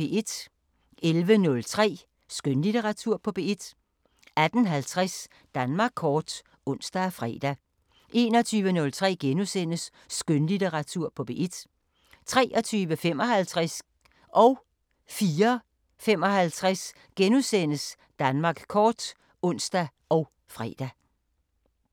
11:03: Skønlitteratur på P1 18:50: Danmark kort (ons og fre) 21:03: Skønlitteratur på P1 * 23:55: Danmark kort *(ons og fre) 04:55: Danmark kort *(ons og fre)